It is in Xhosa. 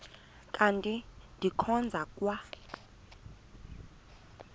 kanti ndikhonza kwa